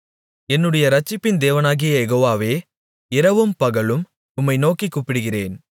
என்னுடைய இரட்சிப்பின் தேவனாகிய யெகோவாவே இரவும் பகலும் உம்மை நோக்கிக் கூப்பிடுகிறேன்